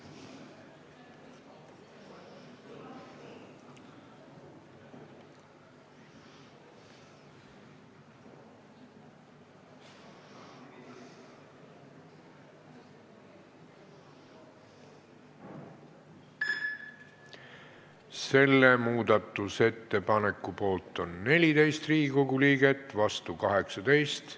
Hääletustulemused Selle muudatusettepaneku poolt on 14 Riigikogu liiget, vastu 18.